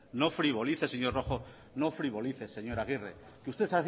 no frivolice señor rojo no frivolice señor agirre que usted